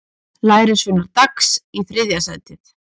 Lærisveinar Dags í þriðja sætið